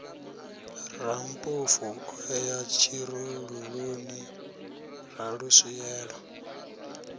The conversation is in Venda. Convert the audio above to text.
rammpofu o ya tshirululuni raluswielo